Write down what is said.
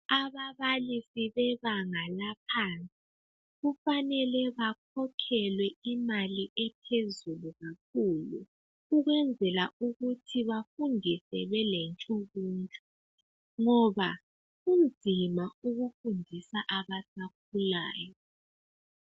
Ababalisi bebanga laphansi kufanele bakhokhelwe imali ephezulu kakhulu ukwenzela ukuthi bafundise bele ntshukutshu ngoba kunzima ukufundisa abasakhulayo.